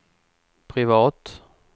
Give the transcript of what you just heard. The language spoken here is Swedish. privat